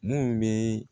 Mun bɛ